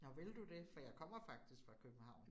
Nåh ville du det, for jeg kommer faktisk fra København